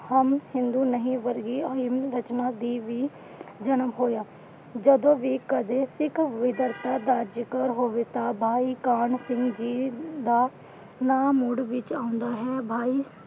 ਹਮ ਹਿੰਦੂ ਨਹੀਂ ਵਰਗੀਆ ਰਸਮਾਂ ਦੀ ਵੀ ਜਨਮ ਹੋਇਆ। ਜਦੋ ਵੀ ਕਦੇ ਸਿੱਖ ਤਾਂ ਭਾਈ ਕਾਹਨ ਸਿੰਘ ਜੀ ਦਾ ਨਾਮ ਵਿਚ ਆਉਂਦਾ ਹੈ।